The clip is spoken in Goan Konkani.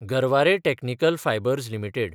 Garware technical fibres limited